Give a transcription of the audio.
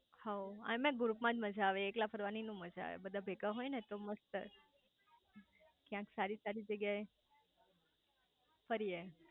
હઉ આમેય ગ્રુપ માં જ મજા આવે એકલા ફરવાની નો મજા આવે બધા ભેગા હોય ને તો મસ્ત ક્યાંક સારી સારી જ્યાં એ ફરીયે